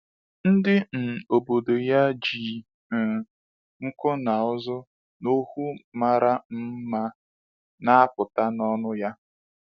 Ndị um obodo ya ji um nku n’ụzụ n’okwu mara um mma na-apụta n’ọnụ ya.